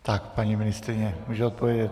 Tak, paní ministryně může odpovědět.